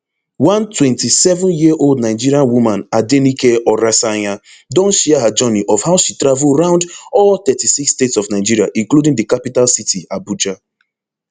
one twenty-sevenyearold nigerian woman adenike oresanya don share her journey of how she travel round all thirty-six states of nigeria including di capital city abuja